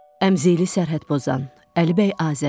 Əmzeli sərhəd pozan Əlibəy Azəri.